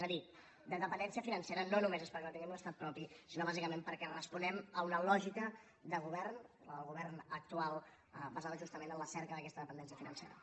és a dir la dependència financera no només és perquè no tinguem un estat propi sinó bàsicament perquè responem a una lògica de govern la del govern actual basada justament en la cerca d’aquesta dependència financera